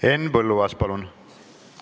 Henn Põlluaas, palun!